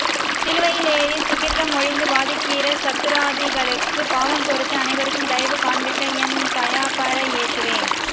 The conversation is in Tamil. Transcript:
சிலுவையிலேறிச் சுகிர்தம் மொழிந்து வாதிக்கிற சத்துராதிகளுக்குப் பாவம் பொறுத்து அனைவருக்கும் தயவு காண்பித்த என் தயாபர இயேசுவே